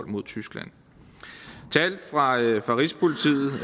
mod tyskland tal fra rigspolitiet